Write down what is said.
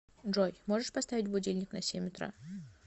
джой можешь поставить будильник на семь утра